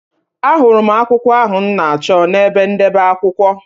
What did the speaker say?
Ahụrụ m akwụkwọ ahụ m na-achọ n’ebe ndebe akwụkwọ.